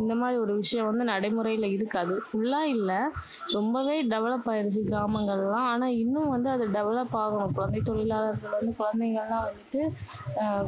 இந்த மாதிரி ஒரு விஷயம் வந்து நடைமுறையில இருக்காது. full ஆ இல்ல. ரொம்பவே develop ஆயிடுச்சு கிராமங்கள் எல்லாம். ஆனா இன்னும் வந்து அது develop ஆகணும். குழந்தை தொழிலாளர்கள் வந்து குழந்தைகள் எல்லாம் வந்துட்டு